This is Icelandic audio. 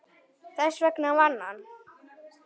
Þess vegna vann hann.